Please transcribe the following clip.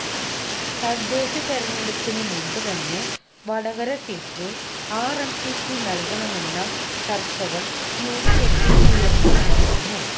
തദ്ദേശ തിരഞ്ഞെടുപ്പിന് മുമ്പ് തന്നെ വടകര സീറ്റ് ആർഎംപിക്ക് നൽകണമെന്ന ചർച്ചകൾ യുഡിഎഫിൽ ഉയർന്നു വന്നിരുന്നു